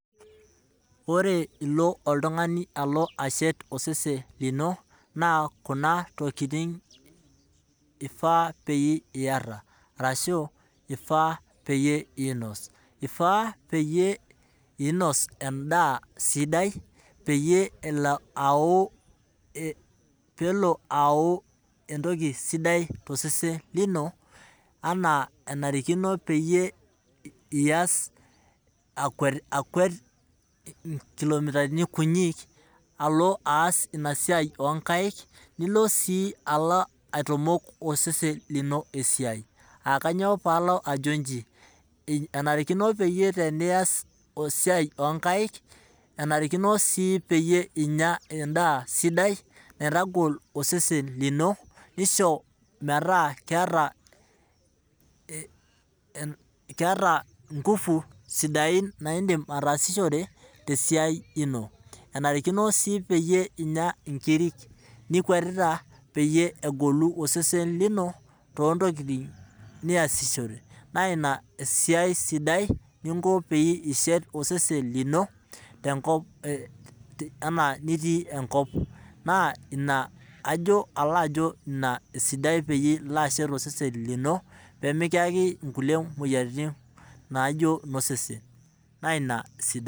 Ore ilo oltungani alo ashet osesen lino, naa Kuna tokiting eifaa pee iyata orashua eifaa pee inos, ifaa pee inos endaa sidai peyie elo ayau entoki sidai tosesen lino, anaa enarikino peyie iyas akwet nkilomitani kunyik alo aas ina siai inkaek nilo sii aitamok osesen lino esiai , aa kainyoo pee alo ajo nji, enarikino pee iyas esiai onkaek ,enarikino sii pee inya endaa sidai naitagol osesen lino, neisho metaa keeta ngufu sidain naa indim ataasishore tesiai ino, enarikino sii ninya inkirik nikwetita peyie egolu osesen lino toontokiting niasishore .naa ina esiai sidai ninko peyie ishet osesen lino anaa nitii enkop naa alo ajo ina esidai peyie ilo ashet osesen lino peyie mekiyaki nkulie moyiaritin osesen.